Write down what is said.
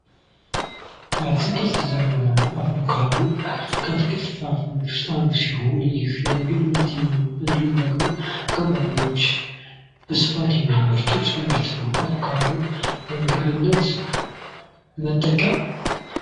አቦካዶ ከአትክልትና ፍራፍሬ ውስጥ የሚመደብ ሲሆን ገበሬዎች በስፋት የሚያመርቱት ለምግብነት የምንጠቀምበት ነው።